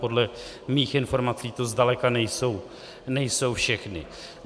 Podle mých informací to zdaleka nejsou všechny.